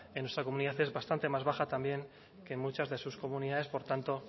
en nuestra comunidad es bastante más baja también que en muchas de sus comunidades por tanto